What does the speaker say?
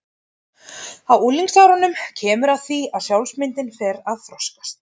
Á unglingsárunum kemur að því að sjálfsmyndin fer að þroskast.